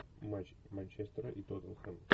матч манчестера и тоттенхэм